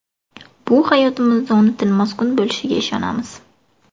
Bu hayotingizda unutilmas kun bo‘lishiga ishonamiz.